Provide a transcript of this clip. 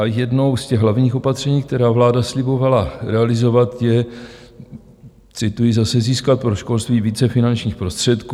A jedno z těch hlavních opatření, která vláda slibovala realizovat je - cituji zase: "Získat pro školství více finančních prostředků."